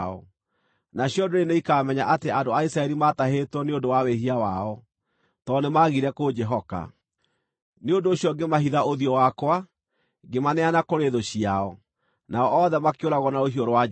Nacio ndũrĩrĩ nĩikamenya atĩ andũ a Isiraeli maatahĩtwo nĩ ũndũ wa wĩhia wao, tondũ nĩmagire kũnjĩhoka. Nĩ ũndũ ũcio ngĩmahitha ũthiũ wakwa, ngĩmaneana kũrĩ thũ ciao, nao othe makĩũragwo na rũhiũ rwa njora.